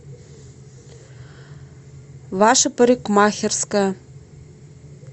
ваша парикмахерская